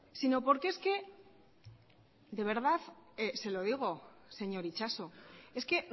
sino porque es que de verdad se lo digo señor itxaso es que